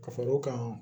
Ka far'o kan